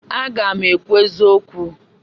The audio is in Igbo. Aga m ekwu eziokwu.